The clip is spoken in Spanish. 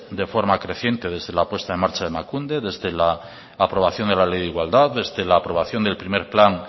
de forma creciente desde la puesta en marcha de emakunde desde la aprobación de la ley de igualdad desde la aprobación del primero plan